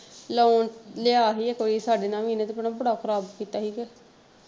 Loan ਲਿਆ ਸੀ ਇਹ ਕੋਈ ਸਾਡੇ ਨਾਲ ਵੀ ਇਹਨੇ ਤੇ ਭੈਣੇ ਬੜਾ ਖਰਾਬ ਕੀਤਾ ਸੀ ਕੇ।